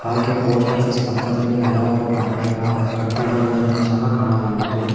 ಹಾಗೆ post office ಪಕ್ಕದಲ್ಲಿ ಹಲವಾರು ಕಟ್ಟಡಗಳ ಕಟ್ಟಡಗಳನ್ನು ಸಹ ಕಾಣಬಹುದು.